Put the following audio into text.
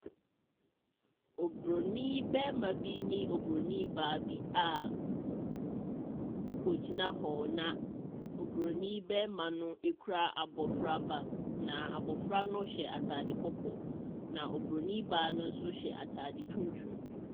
Oburonin barima bine Oburonin baa bi a wɔgyina hɔ na Oburonin barimano kura abɔfraba. Na abɔfra no hyɛ atade kɔkɔɔ. Na Oburonin baa no nso hyɛ atade tuntum.